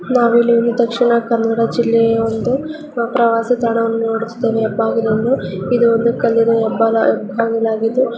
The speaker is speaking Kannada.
ನಾವಿಲ್ಲಿ ದಕ್ಷಿಣ ಕನ್ನಡ ಜಿಲ್ಲೆಯ ಒಂದು ಪ್ರವಾಸಿ ತಾಣವನ್ನು ನೋಡುತ್ತಿದ್ದೇವೆ ಎಬ್ಬಾಗಿಲನ್ನು. ಇದು ಒಂದು ಕಲ್ಲಿನ ಎಬ್ಬ ಎಬ್ಬಾಗಿಲಾಗಿದ್ದು --